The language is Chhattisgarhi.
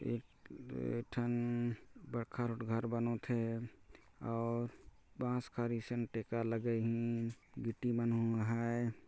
एक एक ठन बड़का कस घर बनत हे और बांस खारी कस टेका लगइन गिट्टी मन हु हैं।